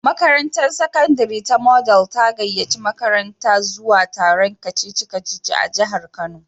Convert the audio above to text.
Makarantar sakandare ta Model ta gayyaci makarantata zuwa taron kacici-kaci a jihar kano.